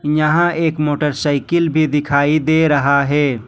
यहां एक मोटरसाइकिल भी दिखाई दे रहा है।